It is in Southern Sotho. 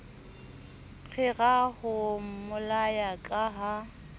rera ho mmolaya ka ha